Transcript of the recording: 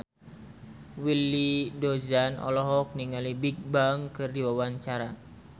Willy Dozan olohok ningali Bigbang keur diwawancara